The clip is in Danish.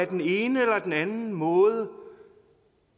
den ene eller den anden måde